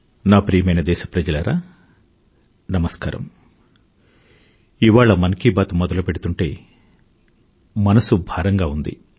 నా ప్రియమైన దేశ ప్రజలారా నమస్కారం ఇవాళ మన్ కీ బాత్ మొదలుపెడుతూంటే మనసు భారంగా ఉంది